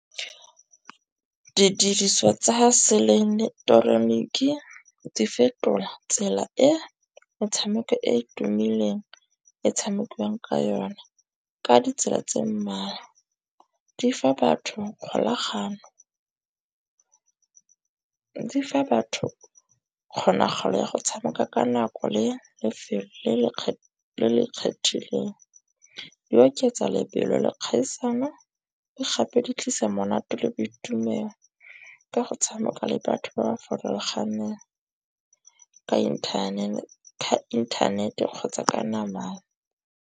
Didiriswa tsa ha seelektroniki di fetola tsela e metshameko e e tumileng e tshamekiwang ka yone ka ditsela tse mmalwa. Di fa batho kgolagano, di fa batho kgonagalo ya go tshameka ka nako le lefelo le le le le kgethegileng. Di oketsa lebelo le kgaisano le gape di tlisa monate le boitumelo ka go tshameka le batho ba farologaneng, ka inthanete kgotsa ka namana.